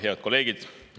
Head kolleegid!